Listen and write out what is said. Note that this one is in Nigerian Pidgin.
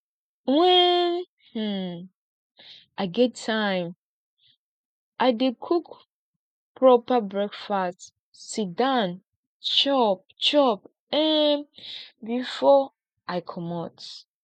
wen um i get time i dey cook proper breakfast sit down chop chop um before i comot